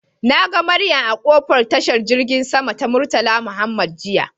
Nagan Mariam a kofar tashan girgin sama ta murtala Mohammed jiya.